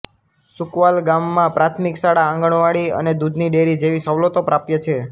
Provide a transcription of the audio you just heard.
સુકવાલ ગામમાં પ્રાથમિક શાળા આંગણવાડી અને દૂધની ડેરી જેવી સવલતો પ્રાપ્ય છે